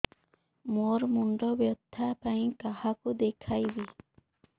ମୋର ମୁଣ୍ଡ ବ୍ୟଥା ପାଇଁ କାହାକୁ ଦେଖେଇବି